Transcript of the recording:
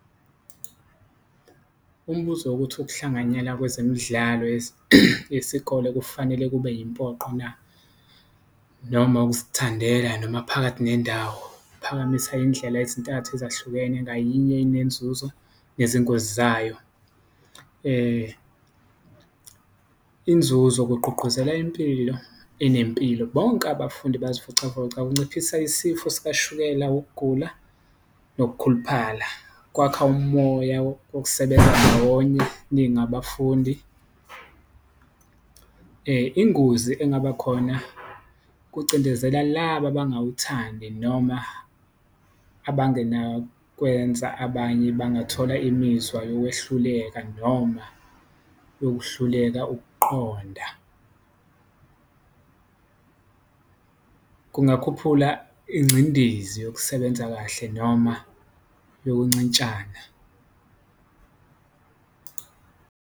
Umbuzo wokuthi ukuhlanganyela kwezemidlalo yesikole kufanele kube yimpoqo na, noma ukuzithandela noma phakathi nendawo? Phakamisa indlela ezintathu ezahlukene ngayinye inenzuzo nezingozi zayo, inzuzo, kugqugquzela impilo enempilo bonke abafundi bazivocavoca kunciphisa isifo sikashukela, ukugula nokukhuluphala, kwakha umoya wokusebenza ndawonye ningabafundi. Ingozi engaba khona kucindezela laba abangawuthandi noma abangenakwenza, abanye bangathola imizwa yokwehluleka noma yokuhluleka ukuqonda, kungakhuphula ingcindezi yokusebenza kahle noma yokuncintshana.